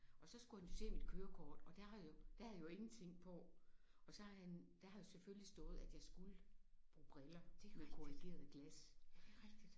Og så skulle han jo se mit kørekort og der har jeg der havde jeg jo ingenting på og så har han der havde jo selvfølgelig stået at jeg skulle bruge briller med korrigerede glas